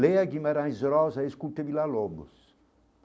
Leia Guimarães Rosa e escuta Vila Lobos.